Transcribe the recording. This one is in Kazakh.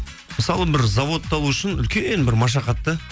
мысалы бір заводты алу үшін үлкен бір машахат та